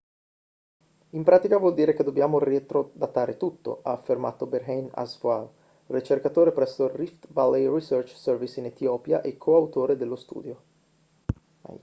in pratica vuol dire che dobbiamo retrodatare tutto ha affermato berhane asfaw ricercatore presso il rift valley research service in etiopia e co-autore dello studio